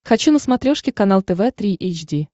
хочу на смотрешке канал тв три эйч ди